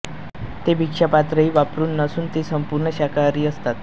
ते भिक्षापात्रही वापरत नसून ते संपूर्ण शाकाहारी असतात